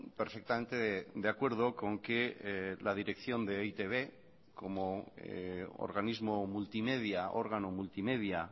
perfectamente de acuerdo con que la dirección de e i te be como organismo multimedia órgano multimedia